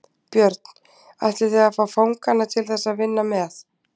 Björn: Ætlið þið að fá fanganna til þess að vinna með?